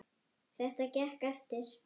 Þetta gekk eftir.